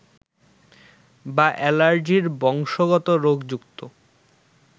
বা অ্যালার্জির বংশগত রোগ যুক্ত